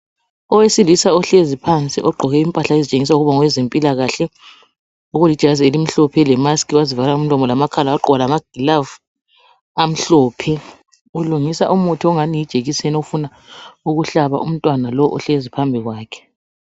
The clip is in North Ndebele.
Owesilisa ohlezi phansi ogqoke impahla ezitshengisa ukuba ngowezempilakahle okulijazi elimhlophe lemask wazivala umlomo lamakhala wagqoka lamagloves amhlophe ulungisa umuthi ongani yijekiseni ufuna ukuhlaba umntwana lo ohlezi phambi kwakhe.